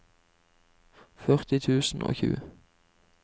førti tusen og tjue